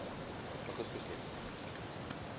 augustus net